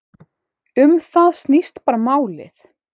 Um það snýst bara málið.